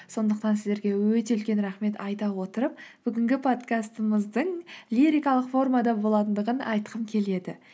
сондықтан сіздерге өте үлкен рахмет айта отырып бүгінгі подкастымыздың лирикалық формада болатындығын айтқым келеді